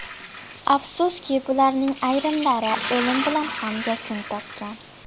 Afsuski, bularning ayrimlari o‘lim bilan ham yakun topgan.